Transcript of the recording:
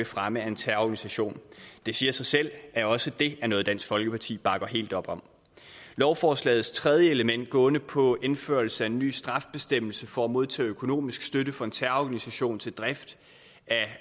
fremme en terrororganisation det siger sig selv at også det er noget dansk folkeparti bakker helt op om lovforslagets tredje element gående på indførelse af en ny straffebestemmelse for at modtage økonomisk støtte fra en terrororganisation til drift af